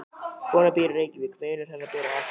Konan býr í Reykjavík. Vinur hennar býr á Akureyri.